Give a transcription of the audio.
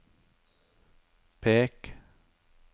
pek